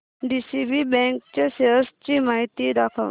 DCB bank च्या shares ची माहिती दाखव